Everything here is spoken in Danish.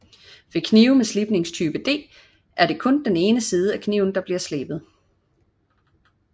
Ved knive med slibningstype D er kun den ene side af kniven slebet